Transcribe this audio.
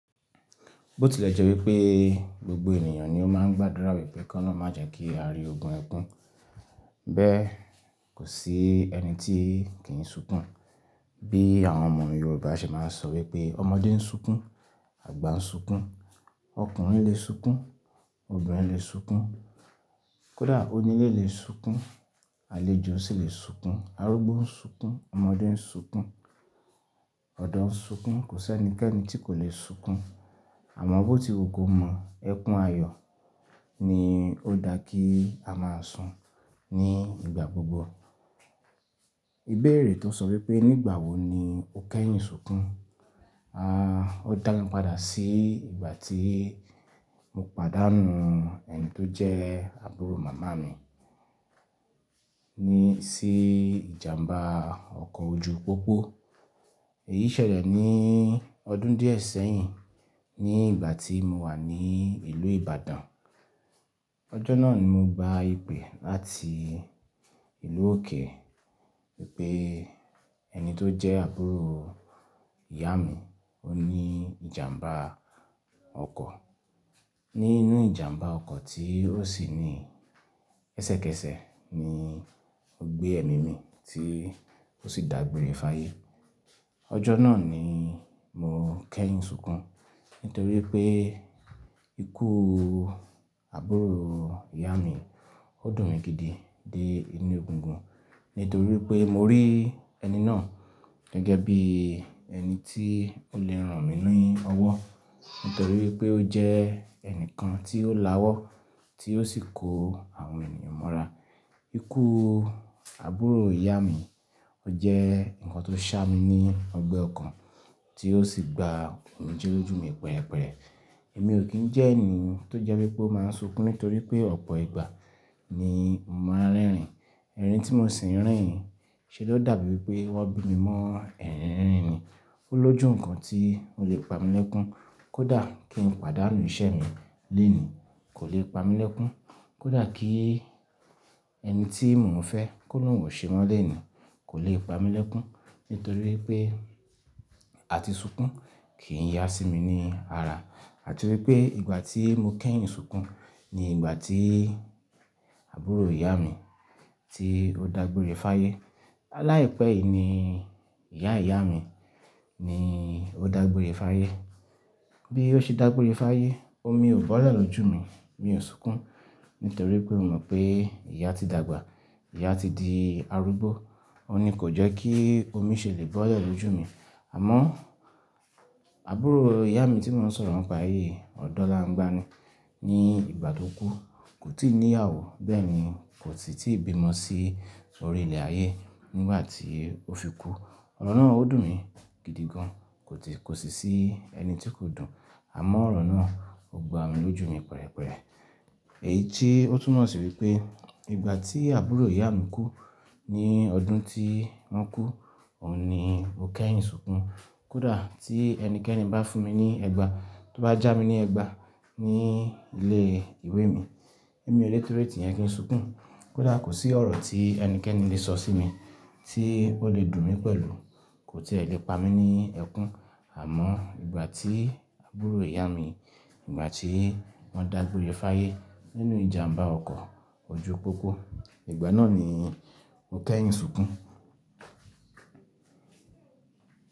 Bó tilẹ̀ jẹ́ wípé gbogbo ènìyàn ni ó máa ń gbàdúrà wípé kọ́ lọ má jẹ kí a rí ogun ẹkún. Bẹ́ẹ̀ kò sí ẹni tí kì í sunkún, bí àwọn ọmọ Yorùbá ṣe máa ń sọ wípé ọmọdé ń sunkún, àgbà ń sunkún, ọkùnrin lè sunkún, obìnrin lè sunkún, kódà onílé lè sunkún, àlejò sì lè sunkún, arúgbó ń sunkún, ọmọdé ń sunkún, ọ̀dọ́ ń sunkún, kò sí ẹnikẹ́ni tí kò lè sunkún. Àmọ́ bó ti ò kó mọ ẹkún ayọ̀ ni ó dá kí a máa sun ní ìgbà gbogbo. Ìbéèrè tó ń sọ wípé nígbà wo ni o kẹ́yìn sunkún, aah, ó dá mi padà sí ìgbà tí mo pàdánù ẹni tó jẹ́ àbúrò màmá mi ní sí ìjàmbá ọkọ̀ ojú pópó. Èyí ṣẹlẹ̀ ní ọdún díẹ̀ sẹ́yìn ní ìgbà tí mo wà ní ìlú Ìbàdàn. Ọjọ́ náà ni mo gba ìpè láti ìlú òkè wípé ẹni tó jẹ́ àbúrò ìyá mi ó ní ìjàmbá ọkọ̀. Nínú ìjàmbá ọkọ̀ tí ó sì ní ẹsẹ́kẹsẹ́ ní ó gbé ẹ̀mí mi tí ó sì dàgbére fáyé. Ọjọ́ náà ni mo kẹ́yìn sunkún nítorí pé ikú àbúrò ìyá mi ó dùn mí gidi dé inú ògùngùn nítorí pé mo rí ẹni náà gẹ́gẹ́ bí ẹni tí ó lè rán mi ní ọwọ́ nítorí pé ó jẹ́ ẹnìkan tí ó láwọ́ tí ó sì kó àwọn ènìyàn mọ́ra. Ikú àbúrò ìyá mi ó jẹ́ nǹkan tó ṣá mi ní ọgbẹ́ ọkàn tí ó sì gba òmíjé lójú mi pẹ̀rẹ̀pẹ̀rẹ̀. Èmi ò kín ń jẹ́ ẹni tó jẹ́ wípé ó máa ń sunkún nítorí pé ọ̀pọ̀ ìgbà ni mò ń rẹ́rìn-ín, ẹrin tí mo sì ń rìn ṣe ló dàbí wípé wọ́n bí mi mọ́ ẹrínrìn ni. Ó lójú nǹkan tí ó lè pa mi lẹ́kún kódà kí n pàdánù iṣẹ́ mi léèní kò lè pa mi lẹ́kún, kódà kí ẹni tí mò ń fẹ́ kó lù wọ̀ṣẹ́ mọ́ léèní kò lè pa mi lẹ́kún nítorí pé àti sunkún kìí yá sí mi ní ara. Àti wípé ìgbà tí mo kẹ́yìn sunkún ni ìgbà tí àbúrò ìyá mi tí ó dàgbére fáyé. Lá ìpẹ́ yìí ni ìyá ìyá mi ni ó dàgbére fáyé. Bí ó ṣe dàgbére fáyé, omi ò bá ọ̀lẹ ló jù mi, mi ò sunkún nítorí pé mo mọ̀ pé ìyá ti dàgbà, ìyá ti di arúgbó. Ó ní kò jẹ́ kí omi ṣe lè bá ọ̀lẹ ló jù mi. Àmọ́ àbúrò ìyá mi tí mò ń sọ̀rọ̀ mọ́ pa yìí ọ̀dọ́ là ń gbáa ni ní ìgbà tó kú, kò tí ì ní àwọ̀ bẹ́ẹ̀ ni kò sì tí ì bí mọ́ sí orí ilẹ̀ ayé nígbà tí ó fi kú. Ọ̀rọ̀ náà ó dùn mí gidi gan kò sì sí ẹni tí kò dùn. Àmọ́ ọ̀rọ̀ náà ó gba mi lójú mi pẹ̀rẹ̀pẹ̀rẹ̀. Èyí tí ó túnmọ̀ sí wípé ìgbà tí àbúrò ìyá mi kú ní ọdún tí wọ́n kú, ò ní mo kẹ́yìn sunkún. Kódà tí ẹnikẹ́ni bá fún mi ní ẹgba, tó bá já mi ní ẹgba ní ilé ìwé mi, èmi ò lè tó ètè yẹn kí n sunkún. Kódà kò sí ọ̀rọ̀ tí ẹnikẹ́ni lè sọ sí mi tí ó lè dùn mí pẹ̀lú, kò sì ẹ̀rí pa mí ní ẹkún. Àmọ́ ìgbà tí àbúrò ìyá mi, ìgbà tí wọ́n dàgbére fáyé nínú ìjàmbá ọkọ̀ ojú pópó, ìgbà náà ni mo kẹ́yìn sunkún.